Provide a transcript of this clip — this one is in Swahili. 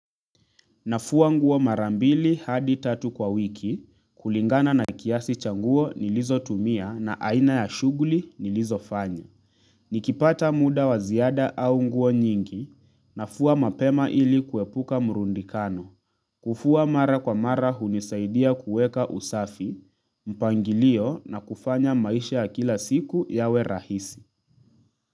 Nafua nguo mara mbili hadi tatu kwa wiki kulingana na kiasi cha nguo nilizotumia na aina ya shuguli nilizofanya nikipata muda wa ziada au nguo nyingi nafua mapema ili kuepuka murundikano kufua mara kwa mara hunisaidia kuweka usafi mpangilio na kufanya maisha ya kila siku yawe rahisi.